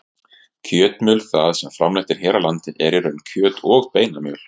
Kjötmjöl það sem framleitt er hér á landi er í raun kjöt- og beinamjöl.